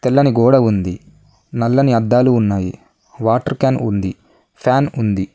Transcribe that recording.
తెల్లని గోడ ఉంది నల్లని అద్దాలు ఉన్నాయి వాటర్ క్యాన్ ఉంది ఫ్యాన్ ఉంది.